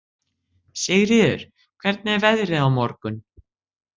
Sigríður, hvernig er veðrið á morgun?